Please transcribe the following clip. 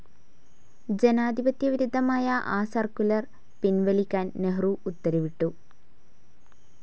ജനാധിപത്യ വിരുദ്ധമായ ആ സർക്കുലർ പിൻവലിക്കാൻ നെഹ്‌റു ഉത്തരവിട്ടു.